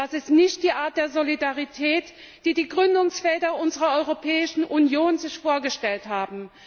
Das ist nicht die Art der Solidarität, die die Gründungsväter unserer Europäischen Union sich vorgestellt haben.